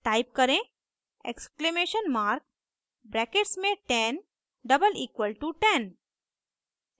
type करें exclamation mark brackets में 10 double equal to 10